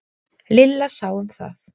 Lilla sá um það.